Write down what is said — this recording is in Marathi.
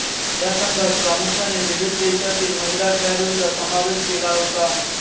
हा संघात प्रामुख्याने विविध देशातील महिला खेळाडूंचा समावेश केला होता